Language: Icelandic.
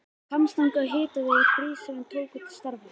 Hvammstanga og Hitaveita Hríseyjar tóku til starfa.